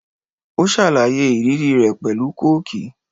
Ó ṣàlàyé ìrírí rẹ̀ pẹ̀lú Kóókì.